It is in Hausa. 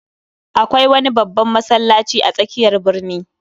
Akwai wani babban masallaci a tsakiyar birni